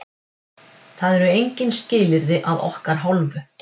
Það eru engin skilyrði að okkar hálfu.